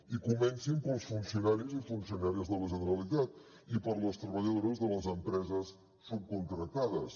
i comencin pels funcionaris i funcionàries de la generalitat i per les treballadores de les empreses subcontractades